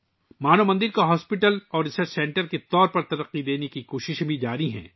مانو مندر کو ایک ہسپتال اور تحقیقی مرکز کے طور پر تیار کرنے کی بھی کوششیں جاری ہیں